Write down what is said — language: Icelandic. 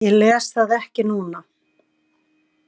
Ég les það ekki núna.